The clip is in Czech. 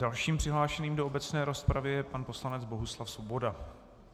Dalším přihlášeným do obecné rozpravy je pan poslanec Bohuslav Svoboda.